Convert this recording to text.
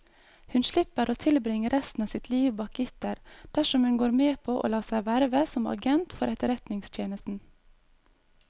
Hun slipper å tilbringe resten av sitt liv bak gitter dersom hun går med på å la seg verve som agent for etterretningstjenesten.